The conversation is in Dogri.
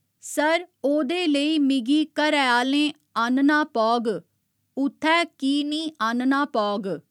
सर ओह्दे लेई मिगी घरैआह्‌लें आह्‌न्ना पौग उत्थै की निं आह्‌न्ना पौग?